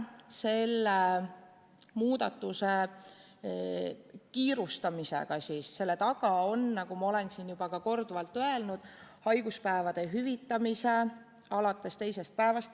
Selle muudatusega kiirustamise taga on, nagu ma olen siin juba korduvalt öelnud, pikendada haiguspäevade hüvitamist alates teisest päevast.